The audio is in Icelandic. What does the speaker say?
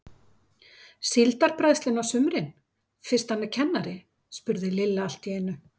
Síldarbræðslunni á sumrin fyrst hann er kennari? spurði Lilla allt í einu.